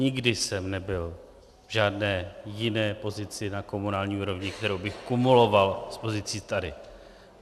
Nikdy jsem nebyl v žádné jiné pozici na komunální úrovni, kterou bych kumuloval s pozicí tady.